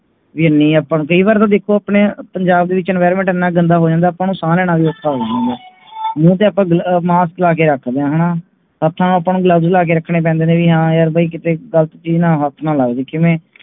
ਕਈ ਵਾਰੀ ਵੀ ਦੇਖੋ ਆਪਣੇ ਪੰਜਾਬ ਵਿੱਚe environment ਇਹਨਾਂ ਗੰਦਾ ਹੋ ਜਾਂਦਾ ਹੈ ਆਪਾਂ ਨੂੰ ਸਾਹ ਲੈਣਾ ਵੀ ਔਖਾ ਹੋ ਜਾਂਦਾ ਮੂੰਹ ਤੇ ਆਪਾ mask ਲਗਾ ਕੇ ਰੱਖਦੇ ਹਾਂ ਹੇਨਾ ਹੱਥਾਂ ਨੂੰ ਆਪਾ gloves ਲਾ ਕੇ ਰੱਖਣਾ ਪੈਂਦੇ ਨੇ ਹਾਂ ਭਾਈ ਕਿਥੇ ਗ਼ਲਤ ਚੀਜ ਨਾਲ ਹਥ ਨਾ ਲੱਗ ਜਾਇ